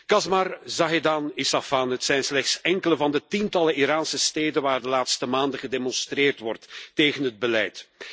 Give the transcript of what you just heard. Kashmar, Zahedan, Isfahan het zijn slechts enkele van de tientallen Iraanse steden waar de laatste maanden gedemonstreerd wordt tegen het beleid.